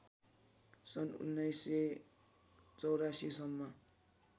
सन् १९८४ सम्म